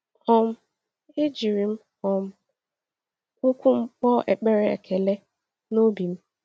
um E jiri m um ụkwụ m kpọọ ekpere ekele n’obi m.